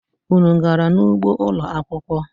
Unu gara n'ugbo ụlo akwụkwọ?